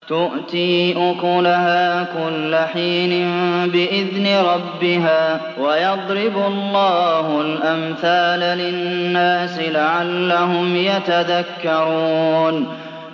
تُؤْتِي أُكُلَهَا كُلَّ حِينٍ بِإِذْنِ رَبِّهَا ۗ وَيَضْرِبُ اللَّهُ الْأَمْثَالَ لِلنَّاسِ لَعَلَّهُمْ يَتَذَكَّرُونَ